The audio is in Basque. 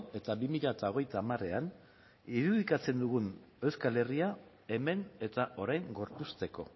eta bi mila hogeita hamarean irudikatzen dugun euskal herria hemen eta orain gorpuzteko